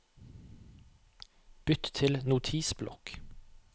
bytt til Notisblokk